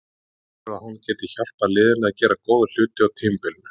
Hann telur að hann geti hjálpað liðinu að gera góða hluti á tímabilinu.